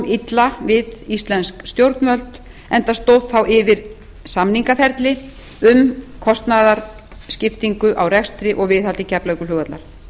illa við íslensk stjórnvöld enda stóð þá yfir samningaferli um kostnaðarskiptingu á rekstri og viðhaldi keflavíkurflugvallar